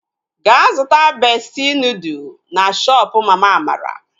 Gaa zụta bestị nudụ na shoopu mama Amara!